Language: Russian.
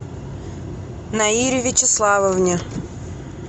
наире вячеславовне